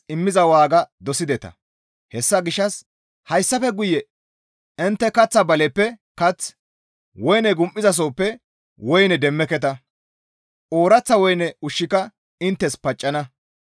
Hessa gishshas hayssafe guye intte kaththa baleppe kath, woyne gum7izasohoppe woyne ushshu demmeketa. Ooraththa woyne ushshika inttes paccana.